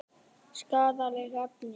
Skaðleg efni.